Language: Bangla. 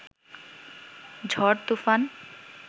ঝড় তুফান